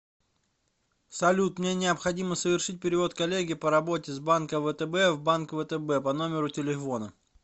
салют мне необходимо совершить перевод коллеге по работе с банка втб в банк втб по номеру телефона